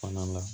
Fana la